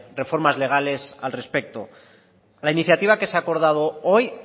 reformas legales al respecto la iniciativa que se ha acordado hoy